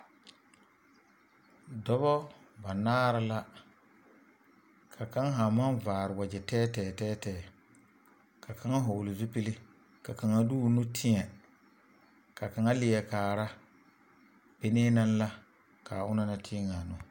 Dɔba banaare la ka kaŋ haa maŋ vaare wagyɛ tɛɛtɛɛ tɛɛtɛɛ ka kaŋa vɔgle zupili ka kaŋa de o nu teɛ ka kaŋa leɛ kaara be nee naŋ la ka a onaŋ naŋ teɛ a nu.